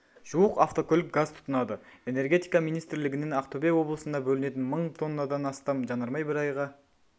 жуық автокөлік газ тұтынады энергетика министрлігінен ақтөбе облысына бөлінетін мың тоннадан астам жанармай бір айға